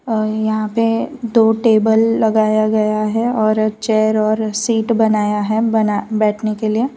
और यहां पे दो टेबल लगाया गया है और एक चेयर और सीट बनाया है बना बैठने के लिए।